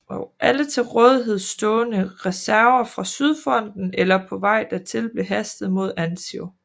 Alle til rådighed stående reserver fra sydfronten eller på vej dertil blev hastet mod Anzio